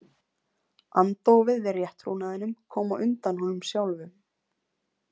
Andófið við rétttrúnaðinum kom á undan honum sjálfum.